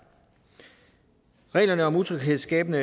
reglerne om utryghedsskabende